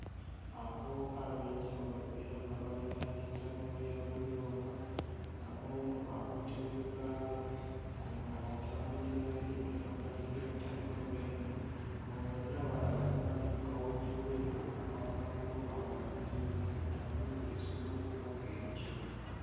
Abaubuka ab'enjawulo era nga balinaanye ttanuulu ya bbulooka nga omu akutte wheelbarrow ng'omulala atambulira eri emabbali ga ttanuulu eno nga bonna balaga bali mu kaweefube w'okupanga bbulooka waggulu zonna ku ttanuulu esobole okuba nga ekyokyebwa.